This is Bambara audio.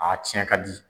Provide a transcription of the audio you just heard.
A tiɲɛ ka di